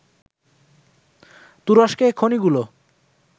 তুরস্কে খনিগুলো